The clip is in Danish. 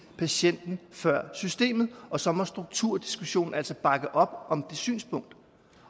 patienten før systemet og så må strukturdiskussionen altså bakke op om det synspunkt